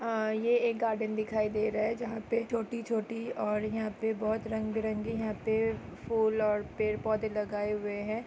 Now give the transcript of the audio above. ये एक गार्डन दिखाई दे रहा है जहा पे छोटी छोटी और यहाँ पे बहुत रंग बिरंगी है पेड़ और फूल पेड़ पौधे लगये हुए है